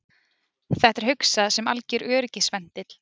Þetta er hugsað sem alger öryggisventill